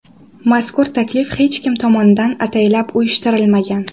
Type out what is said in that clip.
Mazkur taklif hech kim tomonidan ataylab uyushtirilmagan.